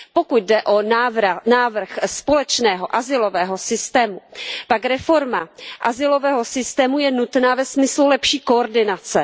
Pokud jde o návrh společného azylového systému, pak reforma azylového systému je nutná ve smyslu lepší koordinace.